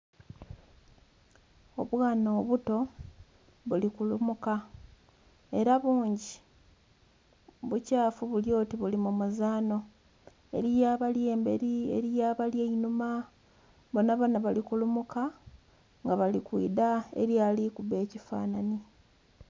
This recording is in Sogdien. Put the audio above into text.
Obwana obuto buli kulumuka ela bungi. Bukyafu buli oti buli mu muzaanho. Eliyo abali embeli , eliyo abali einhuma, bonabona bali ku lumuka nga bali kwidha eliyo àli kubba ekifanhanhi.